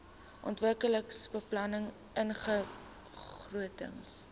ontwikkelingsbeplanningbegrotings